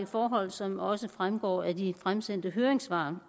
forhold som også fremgår af de fremsendte høringssvar